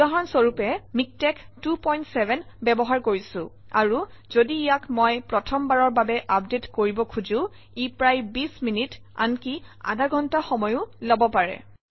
উদাহৰণ স্বৰূপে মই ইয়াত মিকটেক্স 27 ব্যৱহাৰ কৰিছোঁ আৰু যদি ইয়াক মই প্ৰথম বাৰৰ বাবে আপডেট কৰিব খোজোঁ ই প্ৰায় ২0 মিনিট আনকি আধা ঘণ্টা সময়ো লব পাৰে